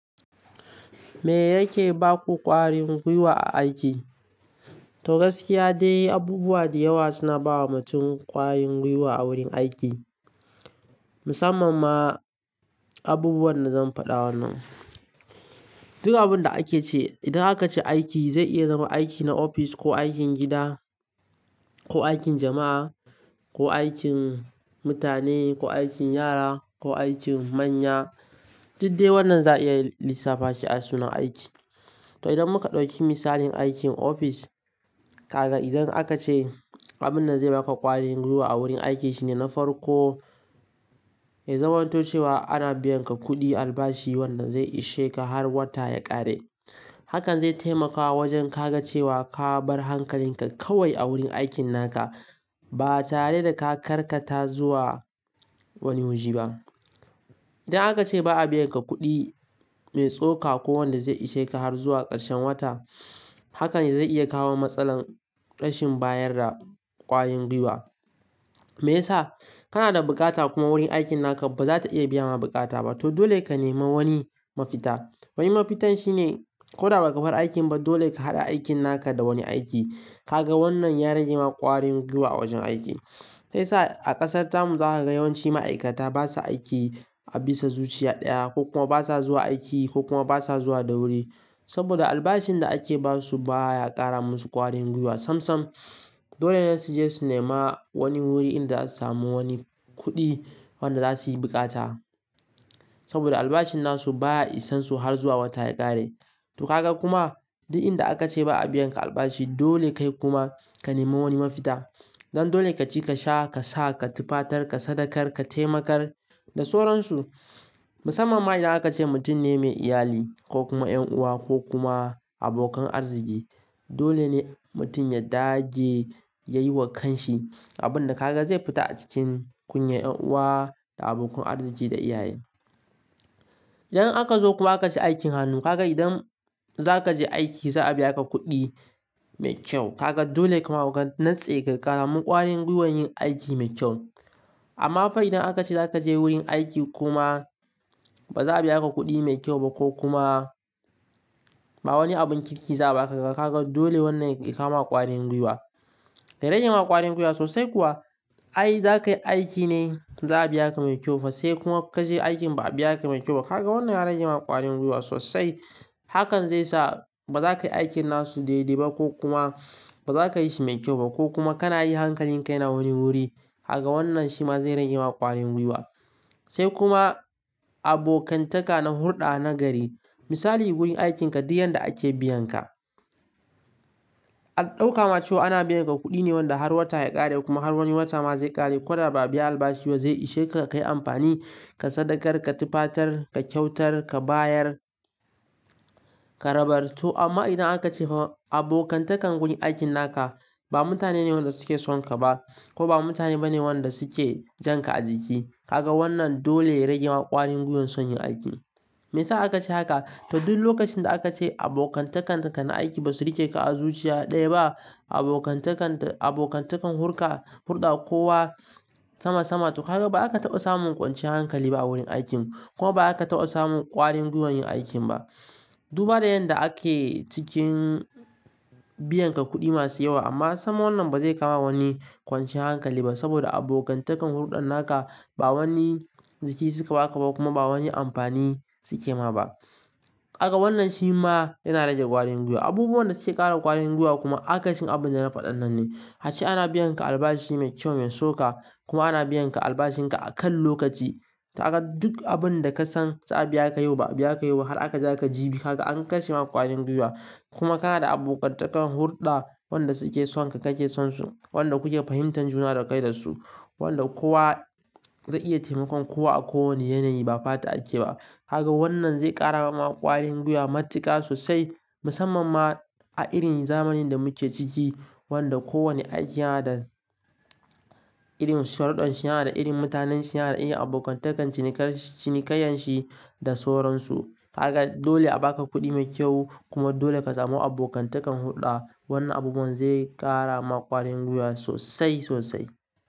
Me yake ba ku ƙwarin gwiwa a aiki? To gaskiya dai, abubuwa da yawa suna ba wa mutum ƙwarin gwiwa a wurin aiki. Musamman ma abubuwan da zan faɗa wannan. Duk abunda ake ce, idan aka ce aiki zai iya zama aiki na ofis ko aikin gida ko aikin jama'a ko aikin mutane ko aikin yara ko aikin manya, duk dai wannan za'a iya lissafa shi a suna aiki. To idan muka ɗauki misalin aikin ofis, Kaga idan aka ce abunda zai baka ƙwarin gwiwa a wurin aiki shine na farko, ya zaman toh cewa ana biyan ka kuɗi albashi wanda zai ishe ka har wata ya ƙare. Hakan zai taimakawa wajen kaga cewa ka bar hankalinka kawai a wurin aikin naka, ba tare da ka karkata zuwa wani waje ba. Idan aka ce ba a biyan ka kuɗi mai tsoka ko wanda zai ishe ka har zuwa ƙarshen wata, hakan zai iya kawo matsalar rashin bayar da ƙwarin gwiwa. Meyasa? Kana da bukata kuma wurin aikin naka ba za ta iya biya ma bukata ba, to dole ka nemi wani mafita. Wani mafitan shine, ko da baka bar aikin ba dole ka hada aikin naka da wani aiki. Kaga wannan ya rage ma ƙwarin gwiwa a wajen aiki. Sai sa a ƙasar tamun za ka ga yawanci ma'aikata basa aiki a bisa zuciya ɗaya ko kuma basa zuwa aiki ko kuma basa zuwa da wuri saboda albashin da ake basu baya ƙara musu ƙwarin gwiwa sam-sam. Dole ne su je su nema wani wuri inda za su samu wani kuɗi wanda za su yi bukata, saboda albashin nasu baya isansu har zuwa wata ya ƙare. To kaga kuma duk inda aka ce ba a biyan ka albashi, dole kai kuma ka nemiwani mafita. Don dole ka ci ka sha, ka sa, ka tufatar, ka sadakar, ka taimakar da sauransu. Musamman ma idan aka ce mutum ne mai iyali, ko kuma ƴan uwa, ko kuma abokan arziki. Dole ne mutum ya dage yayiwa kan shi abunda kaga zai fita a cikin kunyar ƴan uwa da abokan arziki da iyaye. Idan aka zo kuma aka ce aikin hannu, kaga idan za ka je aiki za'a biya ka kuɗi mai kyau, kaga dole ka nitse kasamu ƙwarin gwiwan yin aiki mai kyau. Amma fa idan aka ce za ka je wurin aiki kuma ba za a biya ka kuɗi mai kyau ba ko kuma ba wani abun kirki za'a baka, kaga dole wannan yaki kawoma ƙwarin gwiwa. Da rage ma ƙwarin gwiwa sosai kuwa, ai za ka yi aiki ne za a biya ka mai kyau fa sai kuma ka je aikin ba a biya ka mai kyau ba. Kaga wannan ya rage ma ƙwarin gwiwa sosai. Hakan zai sa ba za ka yi aikin nasu daidai ba, ko kuma ba za ka yi shi mai kyau ba ko kuma kana yi hankalin kai na wani wuri. Kaga wannan shi ma zai rage ma ƙwarin gwiwa. Sai kuma abokantaka na hurɗa na gari. Misali wurin aikinka duk yanda ake biyan ka. A ɗauka ma cewa ana biyan ka kuɗi ne wanda har wata ya ƙare kuma har wani wata ma zai ƙare ko da ba a biya albashi zai ishe ka ka yi amfani, ka sadakar, ka tufatar, ka kyautar, ka bayar, ka rabar. To amma idan aka ce fa abokantakan wurin aikin naka ba mutane ne wanda suke son ka ba ko ba mutane ba ne wanda suke jan ka a jiki, kaga wannan dole ya rage ma ƙwarin gwiwan son yin aiki. Me yasa aka ce haka? To duk lokacin da aka ce abokantakan ka na aiki ba su rike ka a zuciya ɗaya ba, abokantakan, abokantakan hurɗa, hurɗa ko wa sama-sama, to kaga ba aka taɓa samun kwanciyar hankali ba wurin aikin kuma ba aka taɓa samun ƙwarin gwiwan yin aikin ba. Duba da yanda ake cikin biyan ka kuɗi masu yawa amma sam wannan ba zai kawo ma wani kwanciyar hankali ba saboda abokantakan hurɗan naka ba wani jiki suka ba ka ba kuma ba wani amfani suke ma ba. Kaga wannan shi ma yana rage ƙwarin gwiwa. Abubuwan da suke ƙara ƙwarin gwiwa kuma akasin abunda na faɗannan ne. Ace ana biyan ka albashi mai kyau mai so ka kuma ana biyan ka albashin ka a kan lokaci. To kaga duk abunda ka san za'a biya ka yau ba'a biya ka yau ba har aka ja aka jibi, kaga an kashe ma ƙwarin gwiwa. Kuma kana da abokantakan hurɗa wanda suke son ka kake son su, wanda kuke fahimtar juna da kai da su, wanda kowa zai iya taimakon kowa a kowane yanayi ba fata ake ba. Kaga wannan zai ƙara ma ƙwarin gwiwa matuka sosai musamman ma a irin zamanin da muke ciki wanda kowane aiki yana da irin sharuɗan shi, yana da irin mutanen shi, yana da irin abokantakan cinikar- cinikayen shi da sauransu. Kaga dole a baka kuɗi mai kyau kuma dole ka samu abokantakan hurɗa. Wannan abubuwan zai ƙara ma ƙwarin gwiwa sosai sosai.